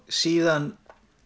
síðan